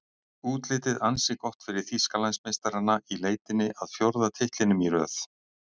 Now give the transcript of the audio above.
Útlitið ansi gott fyrir Þýskalandsmeistarana í leitinni að fjórða titlinum í röð.